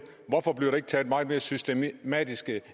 hvorfor bliver der ikke taget meget mere systematiske